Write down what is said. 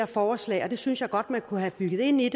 forslag og det synes jeg godt man kunne have bygget ind i